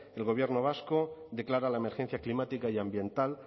el gobierno vasco declara la emergencia climática y ambiental